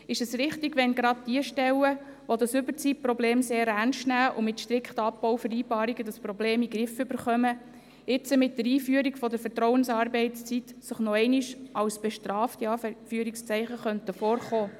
Ist es richtig, wenn gerade diejenigen Stellen, die das Überzeitproblem sehr ernstnehmen und mit strikten Abbauvereinbarungen das Problem in den Griff bekommen, sich jetzt mit der Einführung der Vertrauensarbeitszeit noch einmal als «Bestrafte» vorkommen könnten?